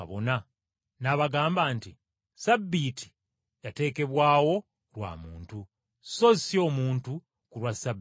N’abagamba nti, “Ssabbiiti yateekebwawo lwa muntu, so si omuntu ku lwa Ssabbiiti.